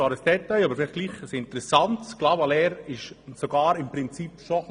Clavaleyres wurde schon etwas vor 1530 bernisch.